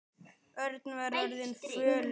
Örn var orðinn fölur.